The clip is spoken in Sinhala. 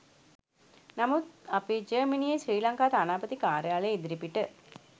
නමුත් අපි ජර්මනියේ ශ්‍රී ලංකා තානාපති කාර්යාලය ඉදිරිපිට